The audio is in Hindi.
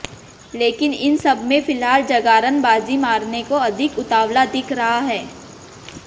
लेकिन इन सब में फिलहाल जगारण बाजी मारने को अधिक उतावला दिख रहा है